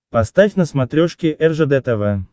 поставь на смотрешке ржд тв